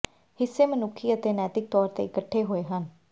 ਹਿੱਸੇ ਮਨੁੱਖੀ ਅਤੇ ਨੈਤਿਕ ਤੌਰ ਤੇ ਇਕੱਠੇ ਹੋਏ ਹਨ